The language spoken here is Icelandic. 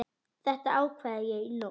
Þetta ákvað ég í nótt.